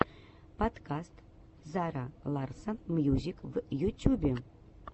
подкаст зара ларсон мьюзик в ютюбе